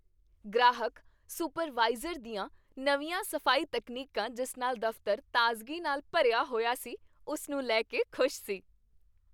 ਗ੍ਰਾਹਕ ਸੁਪਰਵਾਈਜ਼ਰ ਦੀਆਂ ਨਵੀਆਂ ਸਫ਼ਾਈ ਤਕਨੀਕਾਂ ਜਿਸ ਨਾਲ ਦਫਤਰ ਤਾਜ਼ਗੀ ਨਾਲ ਭਰਿਆ ਹੋਇਆ ਸੀ ਉਸ ਨੂੰ ਲੈ ਕੇ ਖੁਸ਼ ਸੀ I